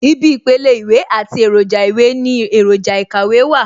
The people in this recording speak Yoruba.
Ibi ìpele Ìwé àti èròjà ìwé ní èròjà ikàwé wà